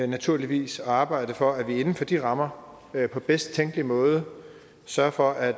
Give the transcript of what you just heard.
naturligvis at arbejde for at vi inden for de rammer på bedst tænkelig måde sørger for at